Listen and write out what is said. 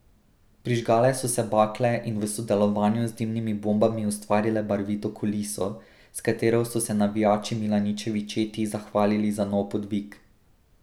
Prižgale so se bakle in v sodelovanju z dimnimi bombami ustvarile barvito kuliso, s katero so se navijači Milaničevi četi zahvalili za nov podvig.